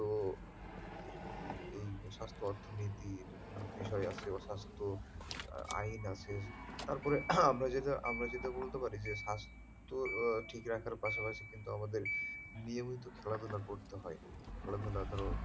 স্বাস্থ্য অর্থনীতির বিষয় আছে স্বাস্থ্য আইন আছে তারপরে আমরা যেটা আমরা যেটা বলতে পারি যে স্বাস্থ্যের ঠিক রাখার পাশাপাশি কিন্তু আমাদের নিয়মিত খেলাধুলা করতে হয় খেলাধুলার,